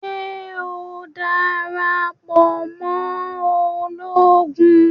Ṣe o darapọ̀ mọ Ológùn?